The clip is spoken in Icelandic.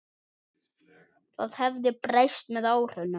Það hafi breyst með árunum.